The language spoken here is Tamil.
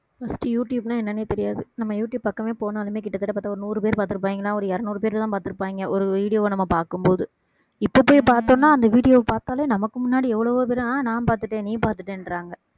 first யூடியூப்ன்னா என்னன்னே தெரியாது நம்ம யூடியூப் பக்கமே போனாலுமே கிட்டத்தட்ட பார்த்தா ஒரு நூறு பேர் பார்த்திருப்பாங்க ஏன்னா ஒரு இருநூறு பேர்தான் பார்த்திருப்பாங்க ஒரு video வ நம்ம பார்க்கும் போது இப்ப போய் பார்த்தோம்ன்னா அந்த video வ பார்த்தாலே நமக்கு முன்னாடி எவ்ளோ பேரு ஆஹ் நான் பாத்துட்டேன் நீ பாத்துட்டேன்றாங்க